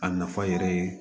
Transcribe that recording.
A nafa yɛrɛ ye